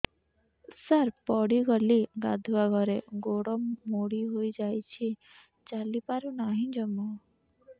ସାର ପଡ଼ିଗଲି ଗାଧୁଆଘରେ ଗୋଡ ମୋଡି ହେଇଯାଇଛି ଚାଲିପାରୁ ନାହିଁ ଜମା